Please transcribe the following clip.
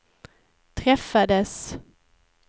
träffades